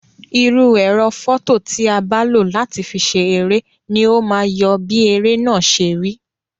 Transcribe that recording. Irú ẹ̀rọ fọto ti a bá lo láti fi ṣe eré ni o ma yọ bí eré náà ṣe rí.